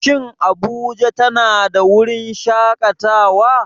Shin Abuja tana da wurin shakatawa?